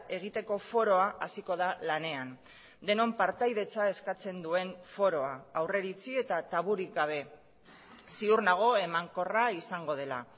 egiteko foroa hasiko da lanean denon partaidetza eskatzen duen foroa aurreiritzi eta taburik gabe ziur nago emankorra izango dela